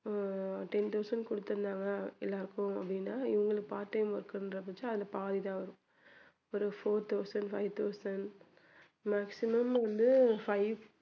அஹ் ten thousand கொடுத்திருந்தாங்க எல்லாருக்கும் அப்படின்னா இவங்களுக்கு part time work ன்றத வச்சு அந்த பாதி தான் வரும் ஒரு four thousand five thousand maximum வந்து five